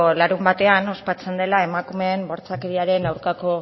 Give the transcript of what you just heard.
larunbatean ospatzen dela emakumeen bortxakeriaren aurkako